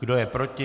Kdo je proti?